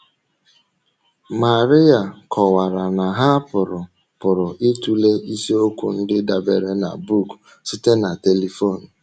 Maria kọwara na ha pụrụ pụrụ ịtụle isiokwu ndị dabeere na book site na telifon.